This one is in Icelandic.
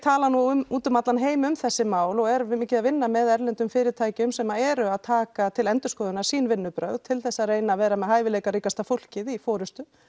talað út um allan heim um þessi mál og er mikið að vinna með erlendum fyrirtækjum sem eru að taka til endurskoðunar sín vinnubrögð til að reyna að vera með hæfileikaríkasta fólkið í forystu